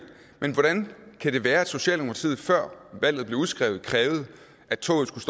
men hvordan kan det være at socialdemokratiet før valget blev udskrevet krævede at toget skulle